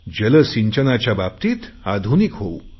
जलसिंचनाच्या बाबतीत आधुनिक होऊन